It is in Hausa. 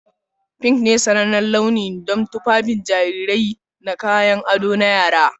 Pink ne sanannen launi don tufafin jarirai da kayan ado na yara.